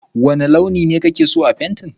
wane launi ne ka ke so a fenti?